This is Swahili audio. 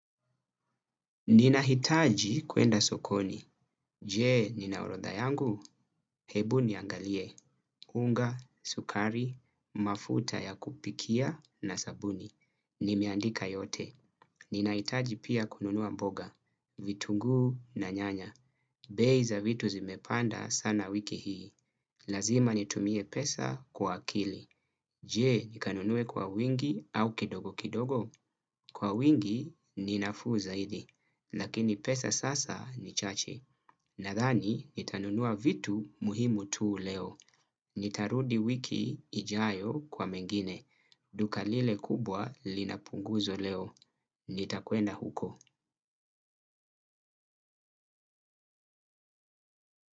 Ninahitaji kuenda sokoni, je nina orodha yangu, hebu niangalie, unga, sukari, mafuta ya kupikia na sabuni, nimeandika yote, ninahitaji pia kununua mboga, vitunguu na nyanya, bei za vitu zimepanda sana wiki hii, lazima nitumie pesa kwa akili, je nikanunue kwa wingi au kidogo kidogo, kwa wingi ni nafuu zaidi, lakini pesa sasa ni chache. Nathani, nitanunua vitu muhimu tuu leo. Nitarudi wiki ijayo kwa mengine. Duka lile kubwa linapunguzwa leo. Nitakwenda huko.